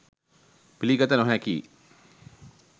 පිළිගත නොහැකියි